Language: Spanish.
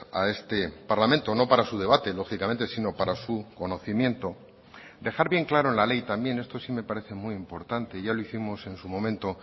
a este parlamento no para su debate lógicamente sino para su conocimiento dejar bien claro en la ley también esto sí me parece muy importante ya lo hicimos en su momento